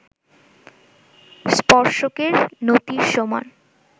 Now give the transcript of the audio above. স্পর্শকের নতির সমান